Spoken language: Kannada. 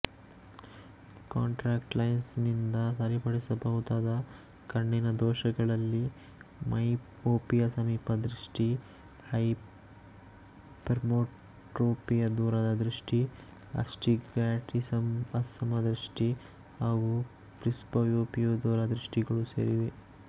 ಕಾಂಟ್ಯಾಕ್ಟ್ ಲೆನ್ಸ್ ನಿಂದ ಸರಿಪಡಿಸಬಹುದಾದ ಕಣ್ಣಿನ ದೋಷಗಳಲ್ಲಿ ಮೈಓಪಿಯಸಮೀಪದೃಷ್ಟಿ ಹೈಪರ್ಮೆಟ್ರೋಪಿಯದೂರದೃಷ್ಟಿ ಅಸ್ಟಿಗ್ಮ್ಯಾಟಿಸಂಅಸಮದೃಷ್ಟಿ ಹಾಗು ಪ್ರಿಸ್ಬಓಪಿಯದೂರ ದೃಷ್ಟಿಗಳು ಸೇರಿವೆ